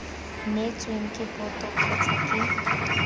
neetsweng ke boto kgotsa ke